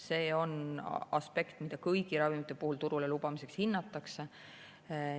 See on aspekt, mida kõigi ravimite puhul turule lubamiseks hinnatakse.